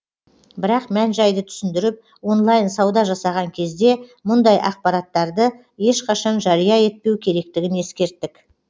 бірақ мән жайды түсіндіріп онлайн сауда жасаған кезде мұндай ақпараттарды ешқашан жария етпеу керектігін ескерттік